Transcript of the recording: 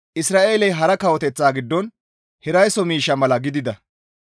Isra7eeley hara kawoteththata giddon hiraysso miishsha mala gidida.